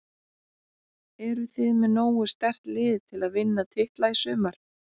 Eruð þið með nógu sterkt lið til að vinna titla í sumar?